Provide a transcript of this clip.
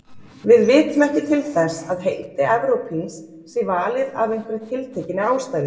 Við vitum ekki til þess að heiti evrópíns sé valið af einhverri tiltekinni ástæðu.